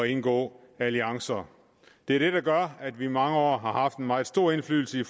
indgå alliancer det er det der gør at vi i mange år har haft en meget stor indflydelse i